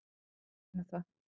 Vil ekki muna það.